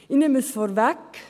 Ich nehme es vorweg: